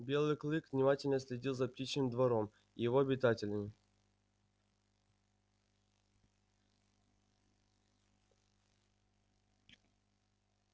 белый клык внимательно следил за птичьим двором и его обитателями